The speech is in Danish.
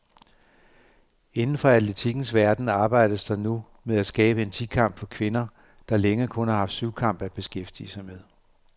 Inden for atletikkens verden arbejdes der nu med at skabe en ti kamp for kvinder, der længe kun har haft syvkamp at beskæftige med.